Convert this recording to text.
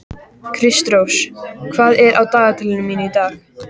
Kristrós, hvað er á dagatalinu í dag?